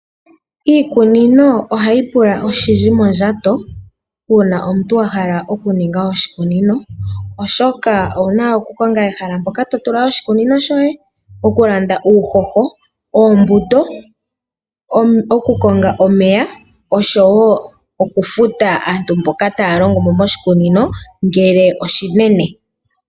Iikunino ohayi pula oshindji mondjato uuna omuntu wa hala okuninga oshikunino, oshoka owu naokukonga ehala mpoka to tula oshikunino shoye, okulanda uuhoho, oombuto, okukonga omeya, oshowo okufuta aantu mboka taya longomo moshikunino ngele oshinene.